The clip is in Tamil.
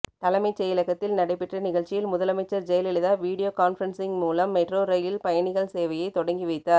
தலைமைச் செயலகத்தில் நடைபெற்ற நிகழ்ச்சியில் முதலமைச்சர் ஜெயலலிதா வீடியோ கான்பரன்சிங் மூலம் மெட்ரோ ரெயில் பயணிகள் சேவையை தொடங்கி வைத்தார்